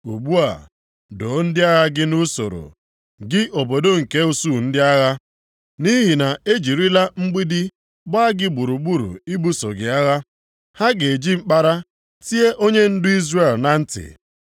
Ugbu a doo ndị agha gị nʼusoro, gị obodo nke usuu ndị agha, nʼihi na e jirila mgbidi gbaa gị gburugburu ibuso gị agha. Ha ga-eji mkpara tie onyendu Izrel na nti.